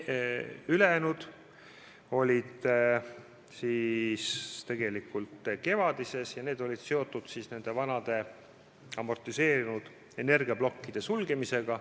Ülejäänud koondati kevadel, see oli seotud vanade amortiseerunud energiaplokkide sulgemisega.